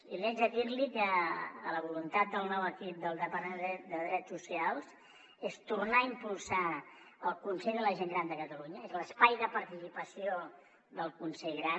i haig de dir li que la voluntat del nou equip del departament de drets socials és tornar a impulsar el consell de la gent gran de catalunya és l’espai de participació del consell gran